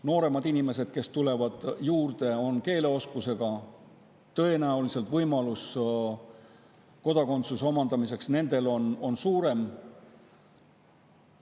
Nooremad inimesed, kes tulevad juurde, on keeleoskusega, tõenäoliselt on neil võimalus kodakondsus omandada suurem.